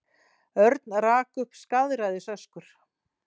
Örn rak upp skaðræðisöskur.